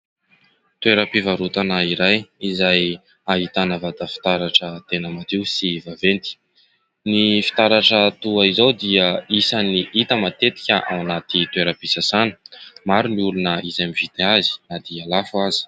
Toeram-pivarotana iray izay ahitana vata fitaratra tena madio sy vaventy, ny fitaratra toa izao dia isany hita matetika ao anaty toeram-pisasana maro ny olona izay mividy azy na dia lafo aza.